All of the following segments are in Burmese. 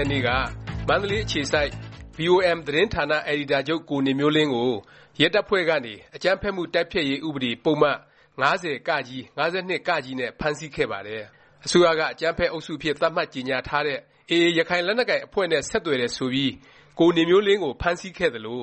ရက်နေ့က မန္တလေး အခြေစိုက် VOM သတင်းဌာန အယ်ဒီတာချုပ် ကိုနေမျိုးလင်းကို ရဲတပ်ဖွဲ့ကနေ အကြမ်းဖက်မှုတိုက်ဖျက်ရေး ဥပဒေ ပုဒ်မ ၅၀(က)၊ ၅၂(က) နဲ့ ဖမ်းဆီးခဲ့ပါတယ်။ အစိုးရက အကြမ်းဖက် အုပ်စုအဖြစ် သတ်မှတ်ကြေငြာထားတဲ့ AA ရခိုင်လက်နက်ကိုင် အဖွဲ့ နဲ့ ဆက်သွယ်တယ် ဆိုပြီး ကိုနေမျိုးလင်း ကို ဖမ်းဆီးခဲ့သလို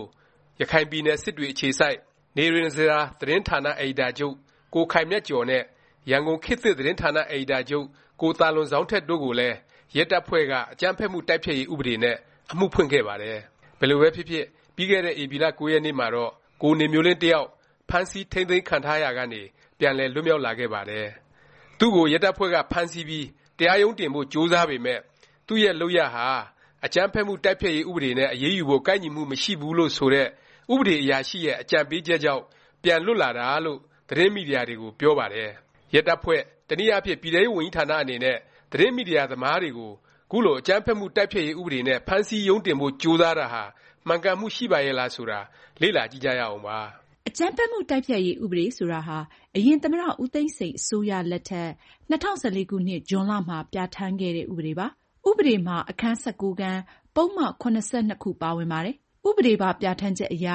ရခိုင်ပြည်နယ် စစ်တွေ အခြေစိုက် နေရဉ္စရာ သတင်းဌာန အယ်ဒီတာချုပ် ကိုခိုင်မြတ်ကျော်နဲ့ ရန်ကုန် ခေတ်သစ် သတင်းဌာန အယ်ဒီတာချုပ် ကိုသာလွန်ဇောင်းထက်တို့ကိုလည်း ရဲတပ်ဖွဲ့က အကြမ်းဖက်မှု တိုက်ဖျက်ရေး ဥပဒေနဲ့ အမှုဖွင့်ခဲ့ပါတယ်။ ဘယ်လိုပဲဖြစ်ဖြစ် ပြီးခဲ့တဲ့ ဧပြီလ ၉ ရက်နေ့မှာတော့ ကိုနေမျိုးလင်း တစ်ယောက် ဖမ်းဆီး ထိမ်းသိမ်းခံထားရာကနေ ပြန်လည် လွတ်မြောက်လာခဲ့ပါတယ်။ သူ့ကို ရဲတပ်ဖွဲ့က ဖမ်းဆီးပြီး တရားရုံးတင်ဖို့ ကြိုးစားပေမယ့် သူ့ရဲ့ လုပ်ရပ်ဟာ အကြမ်းဖက်မှု တိုက်ဖျက်ရေး ဥပဒေနဲ့ အရေးယူဖို့ ကိုက်ညီမှု မရှိဘူးလို့ ဆိုတဲ့ ဥပဒေအရာရှိရဲ့ အကြံပေးချက်ကြောင့် ပြန်လွတ်လာတာလို့ သတင်းမီဒီယာတွေကို ပြောပါတယ်။ ရဲတပ်ဖွဲ့၊ တနည်းအားဖြင့် ပြည်ထဲရေးဝန်ကြီးဌာန အနေနဲ့ သတင်းမီဒီယာ သမားတွေကို ခုလို အကြမ်းဖက်မှု တိုက်ဖျက်ရေး ဥပဒေနဲ့ ဖမ်းဆီးရုံးတင်ဖို့ ကြိုးစားတာဟာ မှန်ကန်မှု ရှိပါရဲ့လား ဆိုတာ လေ့လာ ကြည့်ကြရအောင်ပါ။ အကြမ်းဖက်မှု တိုက်ဖျက်ရေး ဥပဒေ ဆိုတာဟာ အရင် သမ္မတ ဦးသိန်းစိန် အစိုးရလက်ထက် ၂၀၁၄ ခုနှစ် ဇွန်လမှာ ပြဌာန်းခဲ့တဲ့ ဥပဒေပါ။ ဥပဒေမှာ အခန်း (၁၉)ခန်း၊ ပုဒ်မ ၇၂ ခု ပါဝင်ပါတယ်။ ဥပဒေပါ ပြဌာန်းချက်အရ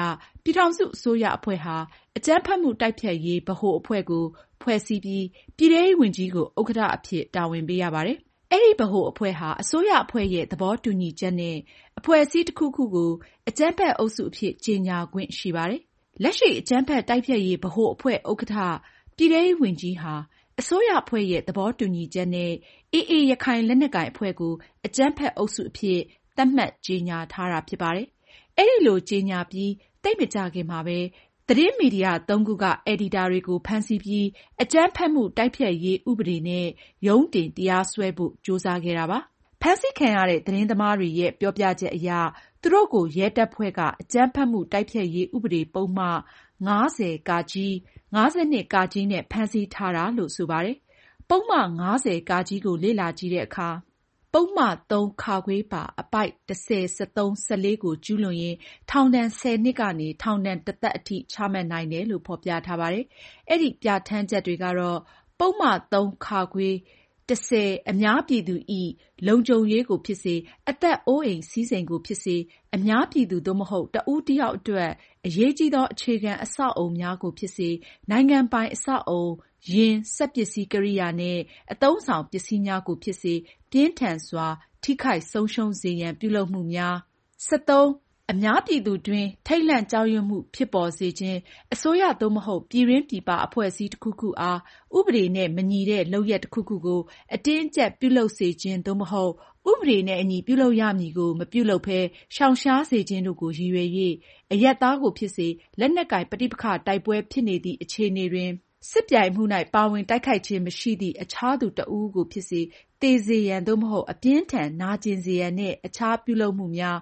ပြည်ထောင်စု အစိုးရအဖွဲ့ဟာ အကြမ်းဖက်မှု တိုက်ဖျက်ရေး ဗဟိုအဖွဲ့ကို ဖွဲ့စည်းပြီး ပြည်ထဲရေးဝန်ကြီးကို ဥက္ကဌ အဖြစ် တာဝန်ပေးရပါတယ်။ အဲဒီ ဗဟိုအဖွဲ့ဟာ အစိုးရအဖွဲ့ရဲ့ သဘောတူညီချက်နဲ့ အဖွဲ့အစည်း တစ်ခုခုကို အကြမ်းဖက် အုပ်စု အဖြစ် ကြေငြာခွင့်ရှိပါတယ်။ လက်ရှိ အကြမ်းဖက်မှု တိုက်ဖျက်ရေး ဗဟိုအဖွဲ့ ဥက္ကဌ ပြည်ထဲရေးဝန်ကြီးဟာ အစိုးရအဖွဲ့ရဲ့ သဘောတူညီချက်နဲ့ AA ရခိုင်လက်နက်ကိုင် အဖွဲ့ကို အကြမ်းဖက် အုပ်စုအဖြစ် သတ်မှတ်ကြေငြာထားတာ ဖြစ်ပါတယ်။ အဲလို ကြေငြာပြီး သိပ်မကြာခင်မှာပဲ သတင်းမီဒီယာ ၃ ခုက ဂျာနယ်လစ်တွေကို ဖမ်းဆီးပြီး အကြမ်းဖက်မှု တိုက်ဖျက်ရေး ဥပဒေနဲ့ ရုံးတင် တရားစွဲဖို့ ကြိုးစားခဲ့တာပါ။ ဖမ်းဆီးခံရတဲ့ သတင်းသမားတွေရဲ့ ပြောပြချက်အရ သူတို့ကို ရဲတပ်ဖွဲ့က အကြမ်းဖက်မှု တိုက်ဖျက်ရေး ဥပဒေ ပုဒ်မ ၅၀(က)၊ ၅၂(က) နဲ့ ဖမ်းဆီးတာလို့ ဆိုပါတယ်။ ပုဒ်မ ၅၀(က) ကို လေ့လာကြည့်တဲ့အခါ ပုဒ်မ ၃ (ခ)၊ ပါ အပိုဒ် (၁၀)(၁၃) (၁၄) ကို ကျူးလွန်ရင် ထောင်ဒဏ် ၁၀ နှစ်ကနေ ထောင်ဒဏ် တစ်သက် အထိ ချမှတ်နိုင်တယ်လို့ ဖော်ပြထားပါတယ်။ အဲဒီ ပြဌာန်းချက်တွေကတော့ - “ပုဒ်မ ၃။ (ခ)။ (၁ဝ) အများပြည်သူ၏ လုံခြုံရေးကိုဖြစ်စေ၊ အသက်အိုးအိမ် စည်းစိမ်ကို ဖြစ်စေ၊ အများပြည်သူ သို့မဟုတ် တစ်ဦး တစ်ယောက်အတွက် အရေးကြီးသော အခြေခံ အဆောက်အအုံများကိုဖြစ်စေ၊ နိုင်ငံပိုင်အဆောက်အအုံ၊ ယာဉ်၊ စက်ပစ္စည်း ကိရိယာနှင့် အသုံးအဆောင် ပစ္စည်းများကိုဖြစ်စေ ပြင်းထန်စွာ ထိခိုက်ဆုံးရှုံး စေရန် ပြုလုပ်မှုများ၊ (၁၃) အများပြည်သူအတွင်း ထိတ်လန့်ကြောက်ရွံ့မှုဖြစ် ပေါ်စေခြင်း၊ အစိုးရ သို့မဟုတ် ပြည်တွင်း၊ ပြည်ပ အဖွဲ့အစည်းတစ်ခုခုအား ဥပဒေနှင့်မညီသည့် လုပ်ရပ် တစ်ခုကို အတင်းအကျပ်ပြုလုပ်စေခြင်း သို့မဟုတ် ဥပဒေနှင့်အညီ ပြုလုပ်ရမည့်ကို မပြုလုပ်ဘဲ ရှောင်ရှားစေခြင်းတို့ကို ရည်ရွယ်၍ အရပ်သားကို ဖြစ်စေ၊ လက်နက်ကိုင် ပဋိပက္ခတိုက်ပွဲဖြစ်နေသည့် အခြေ အနေတွင် စစ်ပြိုင်မှု၌ ပါဝင်တိုက်ခိုက်ခြင်းမရှိသည့် အခြားသူတစ်ဦးဦးကိုဖြစ်စေ သေစေရန် သို့မဟုတ် အပြင်းအထန်နာကျင်စေရန်နှင့် အခြားပြုလုပ်မှုများ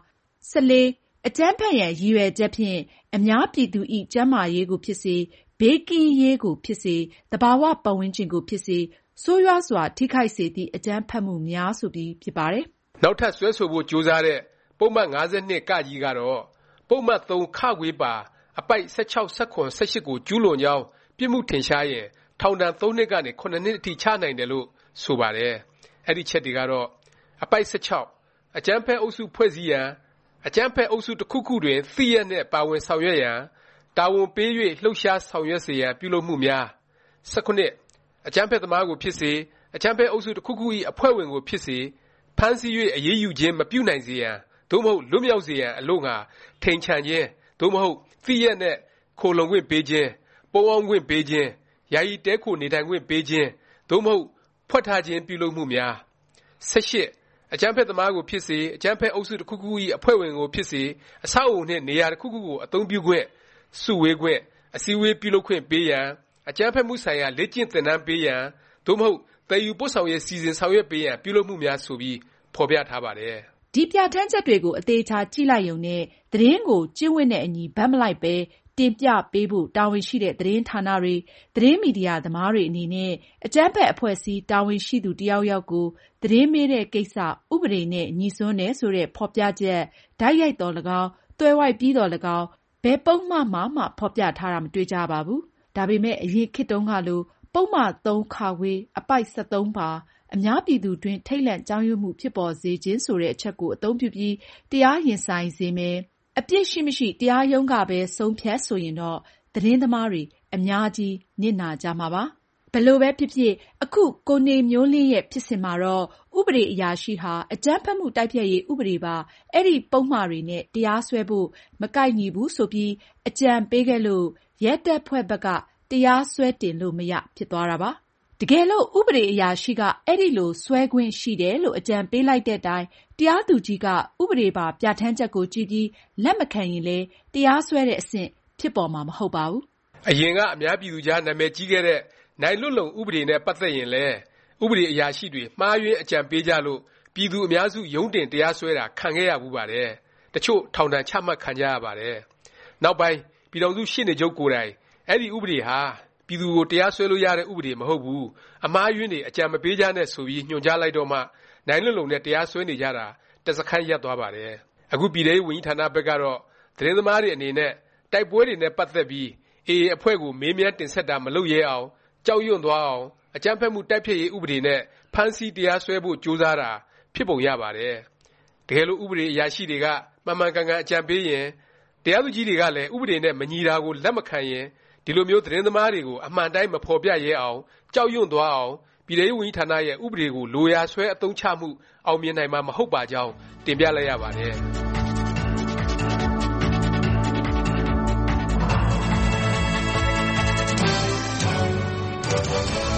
၊ ( ၁၄) အကြမ်းဖက်ရန် ရည်ရွယ်ချက်ဖြင့် အများပြည်သူ၏ ကျန်းမာရေးကိုဖြစ်စေ၊ ဘေးကင်းရေးကိုဖြစ်စေ၊ သဘာဝပတ်ဝန်းကျင်ကိုဖြစ်စေ ဆိုးရွားစွာထိခိုက် စေသည့် အကြမ်းဖက်မှုများ၊” ဆိုပြီး ဖြစ်ပါတယ်။ နောက်ထပ် စွဲဆိုဖို့ ကြိုးစားတဲ့ ပုဒ်မ ၅၂(က) ကတော့ ပုဒ်မ ၃ (ခ)၊ ပါ အပိုဒ် (၁၆)(၁၇)(၁၈) ကို ကျူးလွန်ကြောင်း ပြစ်မှုထင်ရှားရင် ထောင်ဒဏ် ၃ နှစ်ကနေ ၇ နှစ်အထိ ချနိုင်တယ်လို့ ဆိုပါတယ်။ အဲဒီ အချက်တွေကတော့“ အပိုဒ် (၁၆) အကြမ်းဖက်အုပ်စု ဖွဲ့စည်းရန်၊ အကြမ်းဖက်အုပ်စု တစ်ခုခုတွင် သိလျက်နှင့် ပါဝင်ဆောင်ရွက်ရန်၊ တာဝန် ပေး၍ လှုပ်ရှားဆောင်ရွက်စေရန် ပြုလုပ်မှုများ၊ ( ၁၇) အကြမ်းဖက်သမားကိုဖြစ်စေ၊ အကြမ်းဖက်အုပ်စု တစ်ခုခု၏ အဖွဲ့ဝင်ကိုဖြစ်စေ ဖမ်းဆီး၍ အရေးယူ ခြင်းမပြုနိုင်စေရန် သို့မဟုတ် လွတ်မြောက်စေရန် အလို့ငှာ ထိမ်ချန်ခြင်း သို့မဟုတ် သိလျက်နှင့် ခိုလှုံခွင့်ပေးခြင်း၊ ပုန်းအောင်းခွင့်ပေးခြင်း၊ ယာယီတည်းခို နေထိုင်ခွင့်ပေးခြင်း သို့မဟုတ် ဝှက်ထားခြင်းပြုလုပ် မှုများ၊ (၁၈) အကြမ်းဖက်သမားကိုဖြစ်စေ၊ အကြမ်းဖက်အုပ်စု တစ်ခုခု၏အဖွဲ့ဝင်ကိုဖြစ်စေ အဆောက်အအုံနှင့် နေရာတစ်ခုခုကို အသုံးပြုခွင့်၊ စုဝေးခွင့်၊ အစည်း အဝေးပြု လုပ်ခွင့်ပေးရန်၊ အကြမ်းဖက်မှုဆိုင်ရာ လေ့ကျင့်သင်တန်းပေးရန် သို့မဟုတ် သယ်ယူပို့ဆောင် ရေး စီစဉ်ဆောင်ရွက်ပေးရန် ပြုလုပ်မှုများ။” ဆိုပြီး ဖော်ပြထားပါတယ်။ ဒီ ပြဌာန်းချက်တွေကို အသေအခြာ ကြည့်လိုက်ရုံနဲ့ သတင်းကို ကျင့်ဝတ်နဲ့အညီ ဘက်မလိုက်ပဲ တင်ပြပေးဖို့ တာဝန်ရှိတဲ့ သတင်းဌာနတွေ၊ သတင်းမီဒီယာ သမားတွေ အနေနဲ့ အကြမ်းဖက် အဖွဲ့အစည်း တာဝန်ရှိသူ တစ်ယောက်ယောက်ကို သတင်းမေးတဲ့ ကိစ္စ ဥပဒေနဲ့ ငြိစွန်းတယ် ဆိုတဲ့ ဖော်ပြချက် တိုက်ရိုက်သော်၎င်း၊ သွယ်ဝိုက်ပြီးသော်၎င်း ဘယ်ပုဒ်မ မှာမှ ဖော်ပြထားတာ မတွေ့ကြရပါဘူး။ ဒါပေမယ့် အရင်ခေတ်တုန်းကလို ပုဒ်မ ၃(ခ) အပိုဒ် (၁၃) ပါ “အများပြည်သူအတွင်း ထိတ်လန့်ကြောက်ရွံ့မှုဖြစ် ပေါ်စေခြင်း၊” ဆိုတဲ့ အချက်ကို အသုံးပြုပြီး တရားရင်ဆိုင်စေမယ်၊ အပြစ်ရှိမရှိ တရားရုံးကပဲ ဆုံးဖြတ် ဆိုရင်တော့ သတင်းသမားတွေ အများကြီး နစ်နာကြမှာပါ။ ဘယ်လိုပဲဖြစ်ဖြစ် အခု ကိုနေမျိုးလင်းရဲ့ ဖြစ်စဉ်မှာတော့ ဥပဒေအရာရှိဟာ အကြမ်းဖက်မှု တိုက်ဖျက်ရေး ဥပဒေပါ အဲဒီ ပုဒ်မတွေနဲ့ တရားစွဲဖို့ မကိုက်ညီဘူး ဆိုပြီး အကြံပေးခဲ့လို့ ရဲတပ်ဖွဲ့ဘက်က တရားရုံး စွဲတင်လို့ မရ ဖြစ်သွားတာပါ။ တကယ်လို့ ဥပဒေ အရာရှိက အဲလို စွဲခွင့်ရှိတယ်လို့ အကြံပေးလိုက်တဲ့တိုင် တရားသူကြီးက ဥပဒေပါ ပြဌာန်းချက်ကို ကြည့်ပြီး လက်မခံရင်လည်း တရားစွဲတဲ့ အဆင့် ဖြစ်ပေါ်မှာ မဟုတ်ပါဘူး။ အရင်က အများပြည်သူကြား နာမည်ကြီးခဲ့တဲ့ နိုင်လွတ်လုံ ဥပဒေနဲ့ ပတ်သက်ရင်လည်း ဥပဒေ အရာရှိတွေ မှားယွင်း အကြံပေးကြလို့ ပြည်သူ အများစု ရုံးတင် တရားစွဲတာ ခံခဲ့ရဖူးပါတယ်။ တစ်ချို့ ထောင်ဒါဏ်ချမှတ် ခံကြရပါတယ်။ နောက်ပိုင်း ပြည်ထောင်စု ရှေ့နေချုပ်ကိုယ်တိုင် အဲဒီ ဥပဒေဟာ ပြည်သူတွေကို တရားစွဲလို့ ရတဲ့ ဥပဒေ မဟုတ်ဘူး၊ အမှားအယွင်းတွေ အကြံမပေးကြနဲ့ ဆိုပြီး ညွှန်ကြားလိုက်တော့မှ နိုင်လွတ်လုံ နဲ့ တရားစွဲနေကြတာ တစ်စခန်း ရပ်သွားပါတယ်။ အခု ပြည်ထဲရေးဝန်ကြီးဌာနဘက်ကတော့ သတင်းသမားတွေ အနေနဲ့ တိုက်ပွဲတွေနဲ့ ပတ်သက်ပြီး AA အဖွဲ့ကို မေးမြန်းတင်ဆက်တာ မလုပ်ရဲအောင်၊ ကြောက်ရွံ့သွားအောင် အကြမ်းဖက်မှု တိုက်ဖျက်ရေး ဥပဒေနဲ့ ဖမ်းဆီး၊ တရားစွဲဖို့ ကြိုးစားတာ ဖြစ်ပုံရပါတယ်။ တကယ်လို့ ဥပဒေအရာရှိတွေက မှန်မှန်ကန်ကန် အကြံပေးရင်၊ တရားသူကြီးတွေကလည်း ဥပဒေနဲ့ မညီတာကို လက်မခံရင် ဒီလိုမျိုး သတင်းသမားတွေကို အမှန်အတိုင်း မဖော်ပြရဲအောင်၊ ကြောက်ရွံ့သွားအောင် ပြည်ထဲရေးဝန်ကြီးဌာနရဲ့ ဥပဒေကို လိုရာဆွဲ အသုံးချမှု အောင်မြင်နိုင်မှာ မဟုတ်ပါကြောင်း တင်ပြလိုက်ရပါတယ်